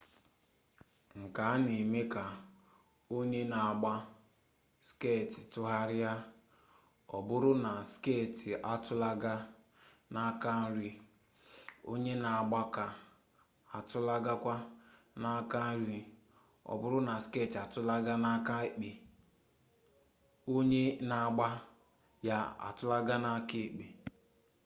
nke a na-eme ka onye na-agba skeeti tụgharịa ọ bụrụ na skeeti atụlaga n'aka nri onye na-agba ya atụlagakwa n'aka nri ọ bụrụ na skeeti atụlaga n'aka ekpe onye na-agba ya atụlagakwa n'aka ekpe